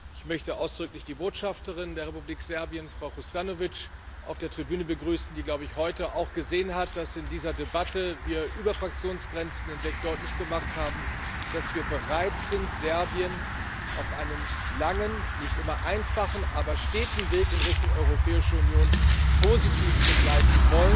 Ich möchte ausdrücklich die Botschafterin der Republik Serbien, Frau Hrustanović, auf der Tribüne begrüßen, die, glaube ich, heute auch gesehen hat, dass wir in dieser Debatte über Fraktionsgrenzen hinweg deutlich gemacht haben, dass wir bereit sind, Serbien auf einem langen, nicht immer einfachen aber steten Weg in Richtung Europäische Union positiv zu begleiten.